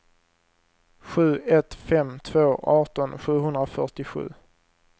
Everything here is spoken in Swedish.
sju ett fem två arton sjuhundrafyrtiosju